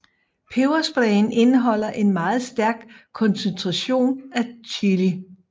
Pebersprayen indeholder en meget stærk koncentration af chili